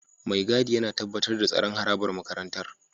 Mai gadi yana tabbatar da tsaron harabar makarantar